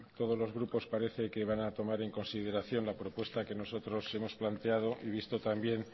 todos los grupos parece que van a tomar en consideración la propuesta que nosotros hemos planteado y visto también